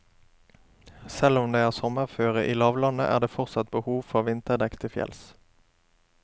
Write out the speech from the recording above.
Selv om det er sommerføre i lavlandet, er det fortsatt behov for vinterdekk til fjells.